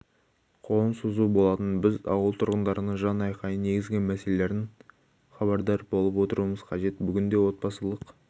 қолын созу болатын біз ауыл тұрғындарының жан-айқайын негізгі мәселелерінен хабардар болып отыруымыз қажет бүгінде отбасылық